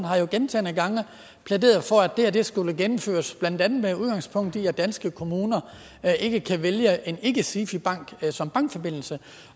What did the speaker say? har jo gentagne gange plæderet for at det her skulle gennemføres blandt andet udgangspunkt i at danske kommuner ikke kan vælge en ikke sifi bank som bankforbindelse